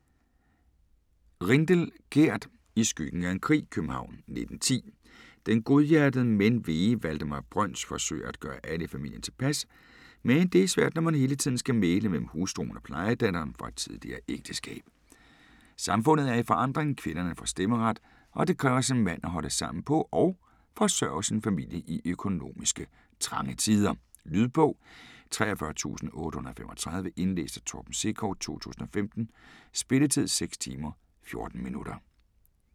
Rindel, Gerd: I skyggen af en krig København 1910. Den godhjertede men vege Valdemar Brøns forsøger at gøre alle i familien tilpas, men det er svært når man hele tiden skal mægle mellem hustruen og plejedatteren fra et tidligere ægteskab. Samfundet er i forandring, kvinderne får stemmeret og det kræver sin mand at holde sammen på og forsørge sin familie i økonomiske trange tider. Lydbog 43835 Indlæst af Torben Sekov, 2015. Spilletid: 6 timer, 14 minutter.